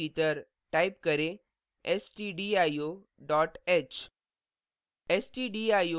अब bracket के भीतर टाइप करें stdio dot h